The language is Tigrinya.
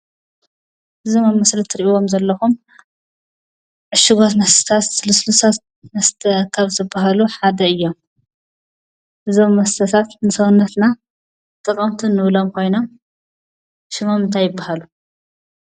እዞም ኣብ ምስሊ እትሪእይዎም ዘለኩም ዕሹጓት መስተታት ሉስሉሳት መስተ ካብ ዝባሃሉ ሓደ እዩም። እዞም መስተታት ንሰውነትና ጠቀምቲ እንብሎም ኮይኖም ሽሞም እንታይ ይባሃሉ?